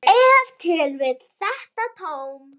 Ef til vill þetta tóm.